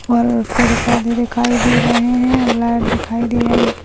और पेड़ पौधे दिखाई दे रहे हैं | लाइट दिखाई दे रही --